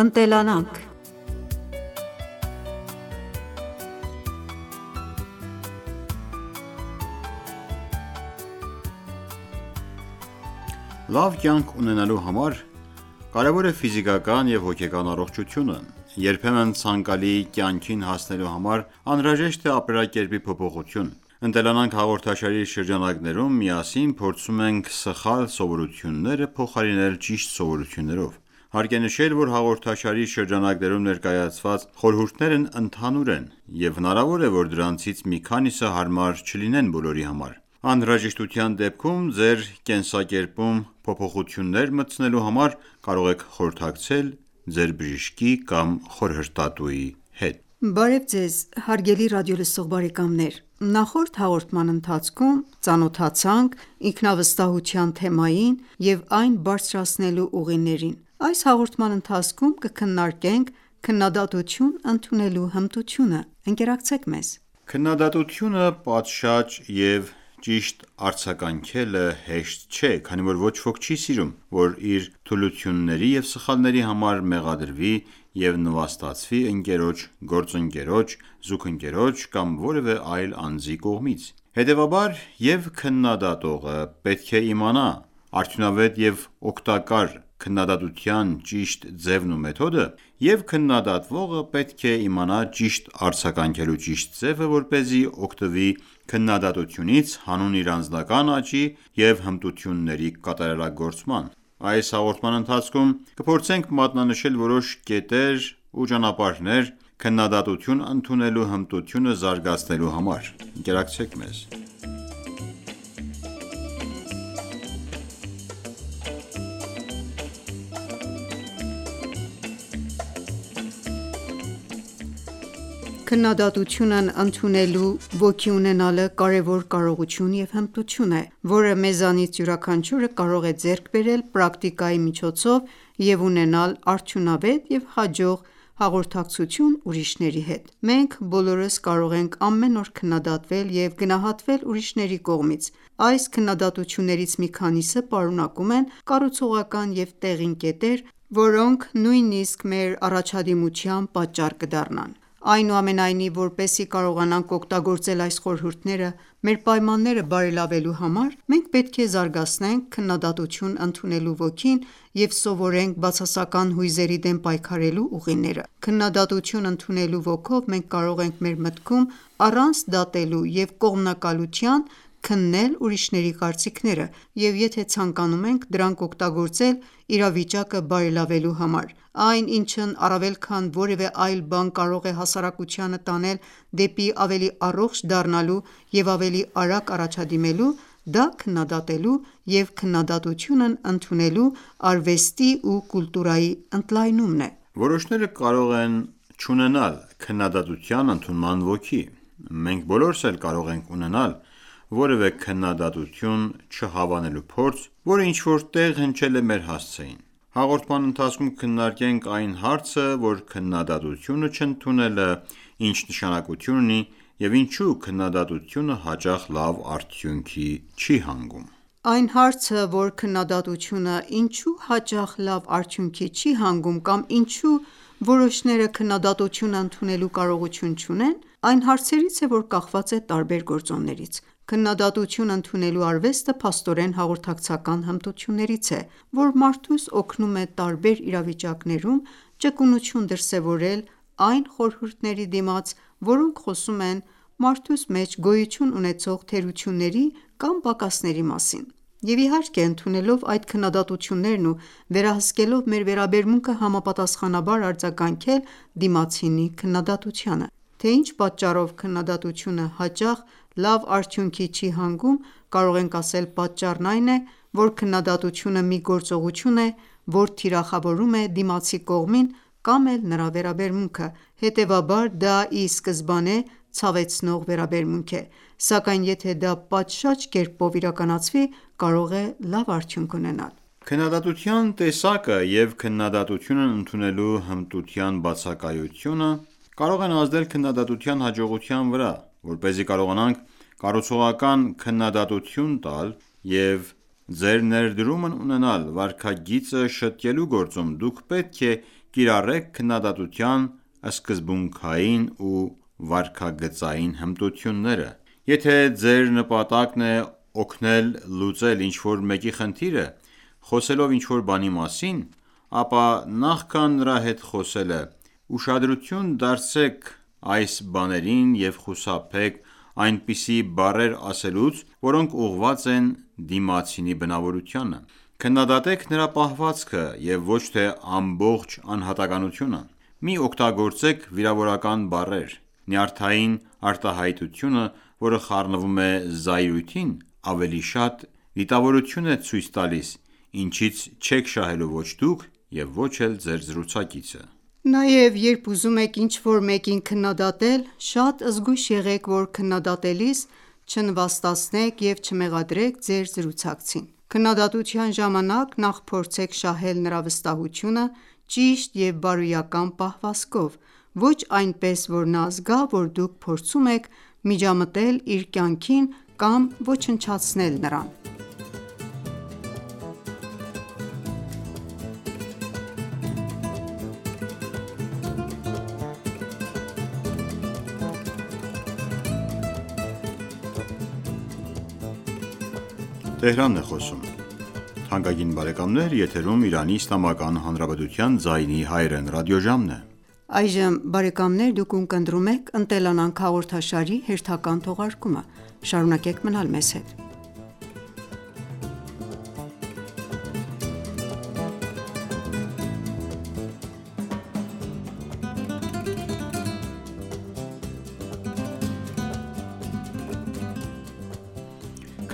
Ընտելանանք Լավ կյանք ունենալու համար կարևոր է ֆիզիկական և հոգեկան առողջությունը։ Երբեմն ցանկալի կյանքին հասնելու համար անհրաժեշտ է ապրելակերպի փոփոխություն։ «Ընտելանանք» հաղորդաշարի շրջանակներում միասին փորձում ենք սխալ սովորությունները փոխարինել ճիշտ սովորություններով։ Հարկ է նշել, որ հաղորդաշարի շրջանակներում ներկայացված խորհուրդներն ընդհանուր են, և հնարավոր է, որ դրանցից մի քանիսը հարմար չլինեն բոլորի համար: Անհրաժեշտության դեպքում ձեր կենսակերպում փոփոխություններ մտցնելու համար կարող եք խորհրդակցել ձեր բժշկի կամ խորհրդատուի հետ: Բարև ձեզ հարգելի ռադիոլսող բարեկամներ: Նախորդ հաղորդման ընթացքում ծանոթացանք ինքնավստահության թեմային ու այն բարձրացնելու ուղիներին, այս հաղորդման ընթացքում կքննարկենք քննադատություն ընդունելու հմտությունը։ Քննադատությանը պատշաճ և ճիշտ արձագանքելը հեշտ չէ, քանի որ ոչ ոք չի սիրում, որ իր թուլությունների և սխալների համար մեղադրվի և նվաստացվի ընկերոջ, գործընկերոջ, զուգընկերոջ կամ որևէ այլ անձի կողմից: Հետևաբար, և՛ քննադատողը պետք է իմանա արդյունավետ և օգտակար քննադատության ճիշտ ձևն ու մեթոդը, և՛ քննադատվողը պետք է իմանա ճիշտ արձագանքելու ճիշտ ձևը, որպեսզի օգտվի քննադատությունից հանուն իր անձնական աճի և հմտությունների կատարելագործման: Այս հաղորդման ընթացքում կփորձենք մատնանշել որոշ կետեր ու ճանապարհներ քննադատությունն ընդունելու հմտությունը զարգացնելու համար: Ընկերակցեք մեզ: Քննադատությունն ընդունելու ոգի ունենալը կարևոր կարողություն և հմտություն է, որը մեզանից յուրաքանչյուրը կարող է ձեռք բերել պրակտիկայի միջոցով և ունենալ արդյունավետ և հաջող հաղորդակցություն ուրիշների հետ: Մենք բոլորս կարող են ամեն օր քննադատվել և գնահատվել ուրիշների կողմից: Այս քննադատություններից մի քանիսը պարունակում են կառուցողական և տեղին կետեր, որոնք նույնիսկ մեր առաջադիմության պատճառ կդառնան: Այնուամենայնիվ, որպեսզի կարողանանք օգտագործել այս խորհուրդները մեր պայմանները բարելավելու համար, մենք պետք է զարգացնենք քննադատություն ընդունելու ոգին և սովորենք բացասական հույզերի դեմ պայքարելու ուղիները: Քննադատություն ընդունելու ոգով մենք կարող ենք մեր մտքում, առանց դատելու և կողմնակալության, քննել ուրիշների կարծիքները և եթե ցանկանում ենք, դրանք օգտագործել իրավիճակը բարելավելու համար: Այն, ինչն առավել քան որևէ այլ բան կարող է հասարակությանը տանել դեպի ավելի առողջ դառնալու և ավելի արագ առաջադիմելու, դա քննադատելու և քննադատությունն ընդունելու արվեստի ու կուլտուրայի ընդլայնումն է։ Որոշները կարող են չունենալ քննադատության ընդունման ոգի: Մենք բոլորս էլ կարող ենք ունենալ որևէ քննադատություն չհավանելու փորձ, որը ինչ-որ տեղ հնչել է մեր հասցեին։ Հաղորդման ընթացքում կքննարկենք այն հարցը, որ քննադատությունը չընդունելը ինչ նշանակություն ունի և ինչու քննադատությունը հաճախ լավ արդյունքի չի հանգում: Այս հարցը, որ քննադատությունը ինչո՞ւ հաճախ լավ արդյունքի չի հանգում կամ ինչո՞ւ որոշները քննադատությունը ընդունելու կարողություն չունեն այն հարցերից է, որ կախված է տարբեր գործոններից: Քննադատություն ընդունելու արվեստը փաստորեն հաղորդակցական հմտություններից է, որ մարդուս օգնում է տարբեր իրավիճակներում ճկունություն դրսևորել այն խորհուրդների դիմաց, որոնք խոսում են մարդուս մեջ գոյություն ունեցող թերությունների կամ պակասների մասին: Եվ իհարկե ընդունելով այդ քննադատություններն ու վերահսկելով մեր վերաբերմունքը համապատասխանաբար արձագանքել դիմացինի քննադատությանը: Թե ինչ պատճառով քննադատությունը հաճախ լավ արդյունքի չի հանգում, կարող ենք ասել պատճառն այն է, որ քննադատությունը մի գործողություն է, որ թիրախավորում է դիմացի կողմին կամ էլ նրա վերաբերմունքը: Հետևաբար դա ի սկզբանե ցավեցնող վերաբերմունք է: Սակայն եթե դա պատշաճ կերպով իրականացվի կարող է լավ արդյունք ունենալ: Քննադատության տեսակը և քննադատությունն ընդունելու հմտության բացակայությունը կարող են ազդել քննադատության հաջողության վրա։ Որպեսզի կարողանաք կառուցողական քննադատություն տալ և ձեր ներդրումն ունենալ վարքագիծը շտկելու գործում, դուք պետք է կիրառեք քննադատության սկզբունքներն ու վարքագծային հմտությունները: Եթե ձեր նպատակն է օգնել լուծել ինչ-որ մեկի խնդիրը՝ խոսելով ինչ-որ բանի մասին, ապա նախքան նրա հետ խոսելը, ուշադրություն դարձրեք այս բաներին և խուսափեք այնպիսի բառեր ասելուց, որոնք ուղղված են դիմացինի բնավորությանը: Քննադատեք նրա պահվածքը և ոչ թե ամբողջ անհատականությունը: Մի օգտագործեք վիրավորական բառեր: Նյարդային արտահայտությունը, որը խառնվում է զայրույթին, ավելի շատ դիտավորություն է ցույց տալիս, ինչից չեք շահելու ոչ դուք և ոչ էլ ձեր զրուցակիցը: Նաև, երբ ուզում եք ինչ-որ մեկին քննադատել, շատ զգույշ եղեք, որ քննադատելիս չնվաստացնեք և չմեղադրեք ձեր զրուցակցին: Քննադատության ժամանակ նախ փորձեք շահել նրա վստահությունը ճիշտ և բարոյական պահվածքով։ Ոչ այնպես, որ նա զգա, որ դուք փորձում եք միջամտել իր կյանքին կամ ոչնչացնել նրան: